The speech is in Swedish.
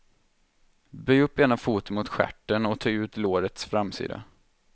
Böj upp ena foten mot stjärten och töj ut lårets framsida.